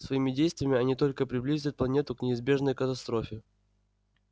своими действиями они только приблизят планету к неизбежной катастрофе